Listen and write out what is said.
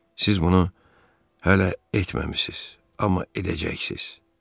Siz bunu hələ etməmisiz, amma edəcəksiz.